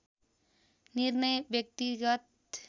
निर्णय व्यक्तिगत